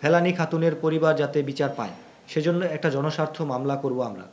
ফেলানী খাতুনের পরিবার যাতে বিচার পায় সেজন্যে একটা জনস্বার্থ মামলা করব আমরা।